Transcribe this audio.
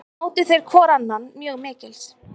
Mátu þeir hvor annan mjög mikils.